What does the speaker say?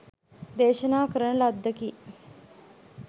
දේශනා කරන ලද්දකි.